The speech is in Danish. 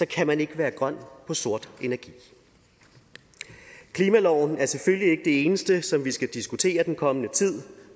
kan man ikke være grøn på sort energi klimaloven er selvfølgelig ikke det eneste som vi skal diskutere den kommende tid